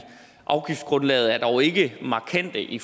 afgiftsgrundlaget er dog ikke markante i